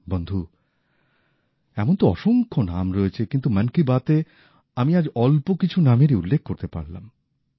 বন্ধু এমন তো অসংখ্য নাম রয়েছে কিন্তু মন কি বাতে আমি আজ অল্প কিছু নামেরই উল্লেখ করতে পারলাম